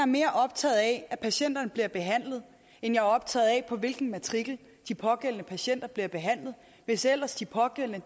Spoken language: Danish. mere optaget af at patienterne bliver behandlet end jeg er optaget af på hvilken matrikel de pågældende patienter bliver behandlet hvis ellers de pågældende